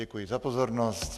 Děkuji za pozornost.